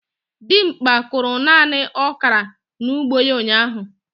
Dimgba kụrụ nani okra n'ugbo ya ụnyahụ.